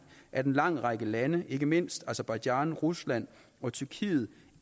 at en lang række lande ikke mindst aserbajdsjan rusland og tyrkiet